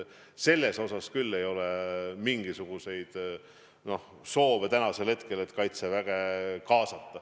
Selles mõttes küll ei ole mingisuguseid soove täna, et kaitseväge kaasata.